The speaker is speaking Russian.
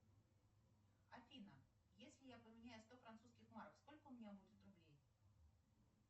афина если я поменяю сто французских марок сколько у меня будет рублей